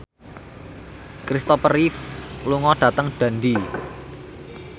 Christopher Reeve lunga dhateng Dundee